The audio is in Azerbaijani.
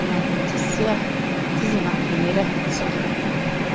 Gizli də məndən gizliyə gizli o axdı yerə, çıxırdı.